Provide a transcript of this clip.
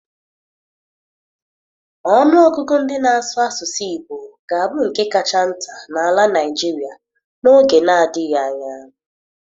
Ọnụ ọgụgụ ndị ná asụ asụsụ Igbo ga-abu nkè kacha nta na àlà Naịjirịa n'oge na-adịghị anya.